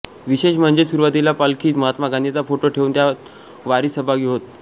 विशेष म्हणजे सुरुवातीला पालखीत महात्मा गांधींचा फोटो ठेऊन त्या वारीत सहभागी होत